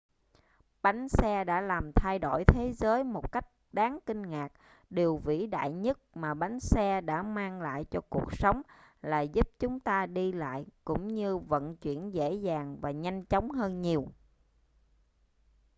bánh xe đã làm thay đổi thế giới một cách đáng kinh ngạc điều vĩ đại nhất mà bánh xe đã mang lại cho cuộc sống là giúp chúng ta đi lại cũng như vận chuyển dễ dàng và nhanh chóng hơn nhiều